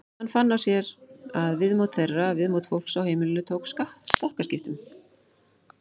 Hann fann á sér að viðmót þeirra, viðmót fólks á heimilinu tók stakkaskiptum.